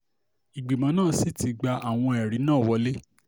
ìgbìmọ̀ náà sì ti gba àwọn ẹ̀rí náà wọ̀lẹ̀